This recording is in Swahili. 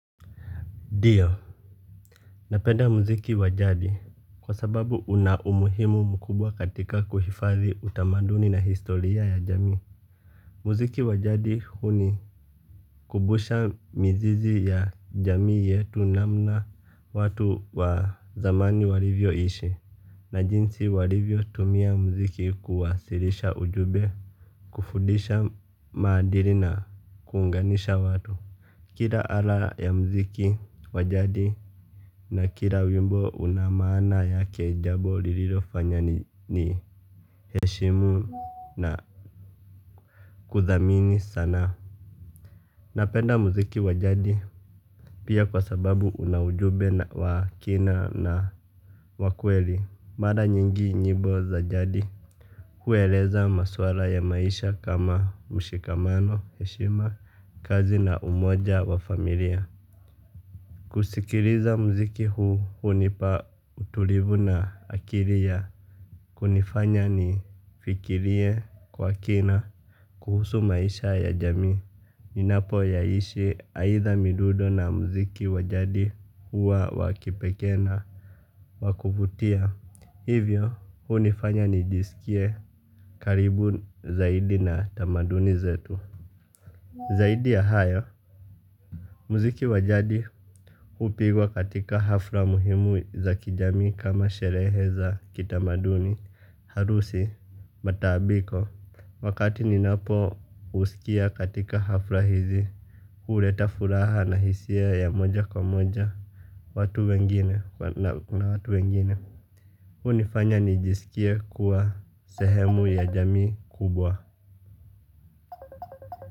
Ndio, napenda muziki wajadi kwa sababu una umuhimu mkubwa katika kuhifadhi utamaduni na historia ya jamii. Muziki wa jadi hunikumbusha mizizi ya jamii yetu namna watu wa zamani walivyoishi. Na jinsi walivyotumia muziki kuwasilisha ujumbe, kufundisha maadili na kuunganisha watu. Kila ala ya mziki wa jadi na kila wimbo una maana yake jambo lililofanya niheshimu na kuthamini sana. Napenda mziki wa jadi pia kwa sababu una ujumbe wa kina na wa kweli. Mara nyingi nyimbo za jadi hueleza maswala ya maisha kama mshikamano heshima kazi na umoja wa familia. Kusikiliza mziki huu hunipa utulivu na akili ya kunifanya nifikirie kwa kina kuhusu maisha ya jamii. Ninapoyaishi aidha midundo na mziki wa jadi hua wa kipekee na wa kuvutia, hivyo hunifanya nijiskie karibu zaidi na tamaduni zetu. Zaidi ya hayo, mziki wa jadi hupigwa katika hafla muhimu za kijamii kama sherehe za kitamaduni, harusi, matambiko. Wakati ninapousikia katika hafla hizi, huleta furaha na hisia ya moja kwa moja, watu wengine, na kuna watu wengine. Hunifanya nijisikie kuwa sehemu ya jamii kubwa.